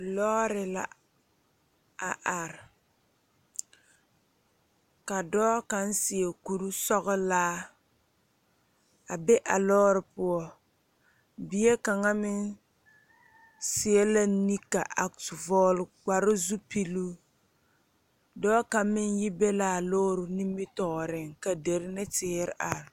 Lɔɔre la a are ka dɔɔ kaŋ seɛ kuresɔglaa a be a lɔɔre poɔ bie kaŋa meŋ seɛ la nika a vɔɔle kparezupiluu dɔɔ kaŋ meŋ yi be laa lɔɔre nimitooreŋ ka derre ne teere are.